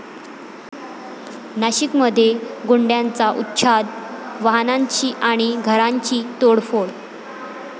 नाशिकमध्ये गुंडांचा उच्छाद, वाहनांची आणि घरांची तोडफोड